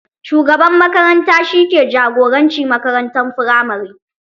Shugaban makaranta shi ke jagoranci makarantar firamare.